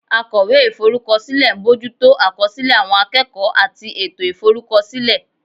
Akọ̀wé Ìforúkọsílẹ̀ ń bójú tó àkọsílẹ̀ àwọn akẹ́kọ̀ọ́ àti ètò ìforúkọsílẹ̀